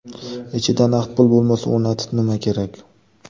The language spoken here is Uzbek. Ichida naqd pul bo‘lmasa, o‘rnatib nima kerak?